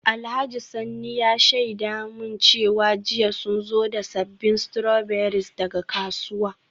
Alhaji Sanni ya shaida min cewa jiya sun zo da sabbin strawberries daga kasuwa.